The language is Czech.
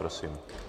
Prosím.